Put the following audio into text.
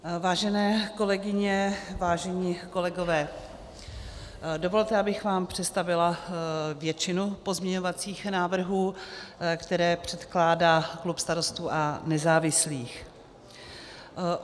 Vážené kolegyně, vážení kolegové, dovolte, abych vám představila většinu pozměňovacích návrhů, které předkládá klub Starostů a nezávislých.